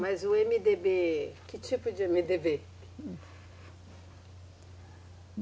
Mas o Emedêbê, que tipo de Emedêbê?